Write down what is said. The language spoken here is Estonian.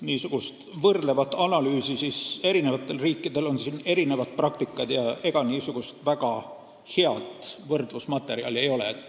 Mis puudutab võrdlevat analüüsi, siis eri riikidel on erinev praktika – ega väga head võrdlusmaterjali ei ole.